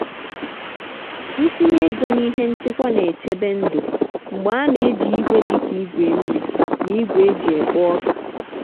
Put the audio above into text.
ntinye ego n'ihe nchekwa na-echebe ndụ mgbe a na-eji igwe dị ka igwe nri na igwe e ji ekpo ọka.